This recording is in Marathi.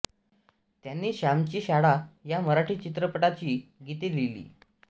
त्यांनी श्यामची शाळा या मराठी चित्रपटाची गीते लिहीली